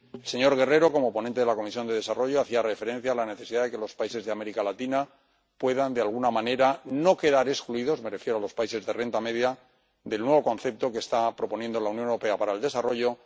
El señor Guerrero, como ponente de la Comisión de Desarrollo, hacía referencia a la necesidad de que los países de América Latina puedan de alguna manera no quedar excluidos —me refiero a los países de renta media— del nuevo concepto que está proponiendo la Unión Europea para el desarrollo.